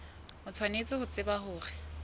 o tshwanetse ho tseba hore